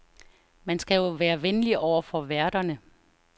Man skal jo være venlig over for værterne.